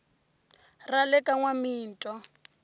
ra le ka n wamitwa